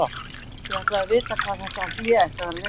Ég ætlaði að vita hvað þetta hlé ætti að vera lengi.